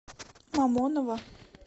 мамоново